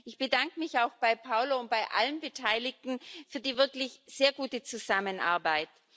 Ich bedanke mich auch bei Paolo de Castro und bei allen Beteiligten für die wirklich sehr gute Zusammenarbeit.